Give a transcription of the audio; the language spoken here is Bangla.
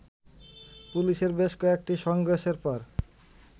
পুলিশের বেশ কয়েকটি সংঘর্ষের পর